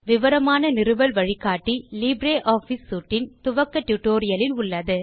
விவரமான நிறுவல் வழிகாட்டி லிப்ரியாஃபிஸ் சூட் இன் துவக்க டியூட்டோரியல் இல் உள்ளது